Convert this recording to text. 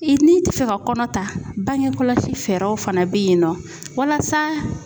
I n'i ti fɛ ka kɔnɔ ta bangekɔlɔsi fɛɛrɛw fana be yen nɔ walasa